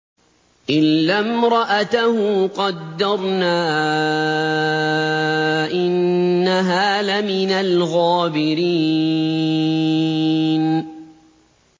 إِلَّا امْرَأَتَهُ قَدَّرْنَا ۙ إِنَّهَا لَمِنَ الْغَابِرِينَ